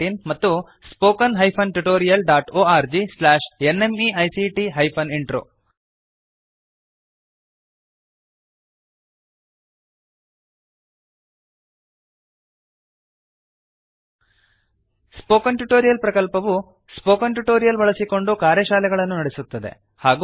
oscariitbacಇನ್ ಮತ್ತು spoken tutorialorgnmeict intro spoken tutorial ಪ್ರಕಲ್ಪವು spoken tutorials ಬಳಸಿಕೊಂಡು ಕಾರ್ಯಶಾಲೆಗಳನ್ನು ನಡೆಸುತ್ತದೆ